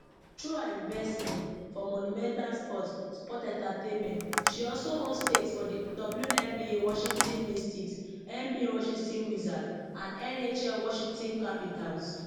through her investment for monumental sports sports entertainment she also own stakes for di wnba washington mystics nba washington wizards and nhl washington capitals